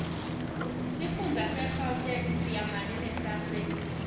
sifundza segauteng seyamane nesase